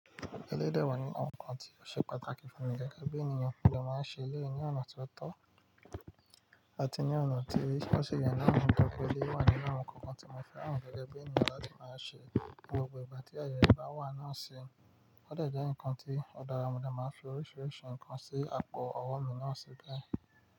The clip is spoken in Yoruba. Eléyi de wà nínú awon nkan tí ó ṣe pàtàkì fún mi gẹ́gẹ́ bí ènìyàn kí mo máa ṣe ayé ní ọ̀nà tó ti o àti ní ọ̀nà tí ó sì yen naa tori pe eleyi wà nínú àwọn nǹkankan tí mo fẹ́ran gẹ́gẹ́ bí ènìyàn láti máa ṣe ni gbogbo ìgbà tí ayẹ rẹ bá wà náà ṣe. Ó de jẹ́ ǹkan tí òdara mo de máa ń fi oríṣiríṣi ǹkan sí àpò ọwọ́ mi náà sí bee.